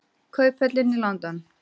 Kauphöllin í London.